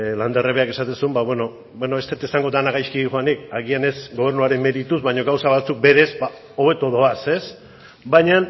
landerrek berak esaten zuen ba beno beno ez dut esango dena gaizki doanik agian ez gobernuaren merituz baina gauza batzuk berez hobeto doaz baina